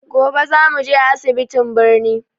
Gobe za mu je asibitiin birni.